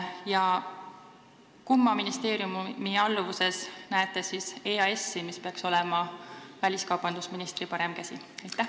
Ja kumma ministeeriumi alluvuses näeksite EAS-i, kes peaks olema väliskaubandusministri parem käsi?